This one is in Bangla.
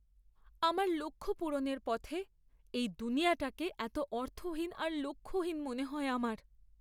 আমার লক্ষ্য পূরণের পথে এই দুনিয়াটাকে এত অর্থহীন আর লক্ষ্যহীন মনে হয় আমার!